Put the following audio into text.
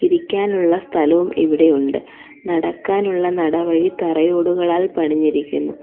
ഇരിക്കാനുള്ള സ്ഥലവും ഇവിടെയുണ്ട് നടക്കാനുള്ള നടവഴി തറയോടുകളാൽ പണിഞ്ഞിരിക്കുന്നു.